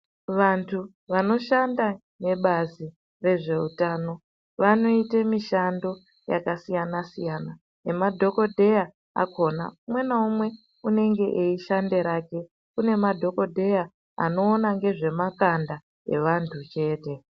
Vantu vanoshanda nebazi rezveutano, vanoite mishando yakasiyana-siyana, nemadhokodheya akhona. Umwe naumwe unonga eishande rake. Kune madhokodheya anoona nezvemakanda evantu chete.